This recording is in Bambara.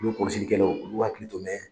Olu kɔlɔsilikɛlaw olu hakili to mɛn